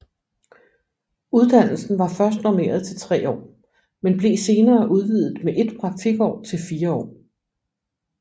Uddannelsen var først normeret til 3 år men blev senere udvidet med et praktikår til 4 år